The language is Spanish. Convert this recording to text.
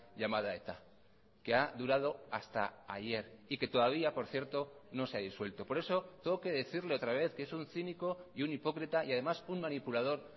llamada eta que ha durado hasta ayer y que todavía por cierto no se ha disuelto por eso tengo que decirle otra vez que es un cínico y un hipócrita y además un manipulador